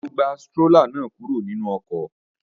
Ṣé o gbé strólà náà kúrò nínú ọkọ̀?